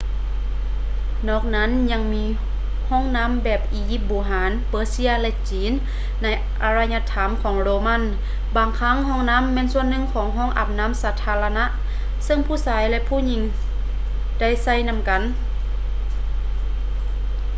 ນອກນັ້ນຍັງມີຫ້ອງນໍ້າແບບອີຢິບບູຮານ ເປີເຊຍ ແລະ ຈີນ ໃນອາລະຍະທຳຂອງໂຣມັນ ບາງຄັ້ງຫ້ອງນໍ້າແມ່ນສ່ວນໜຶ່ງຂອງຫ້ອງອາບນໍ້າສາທາລະນະເຊິ່ງຜູ້ຊາຍ ແລະ ຜູ້ຍິງໄດ້ໃຊ້ນຳກັນ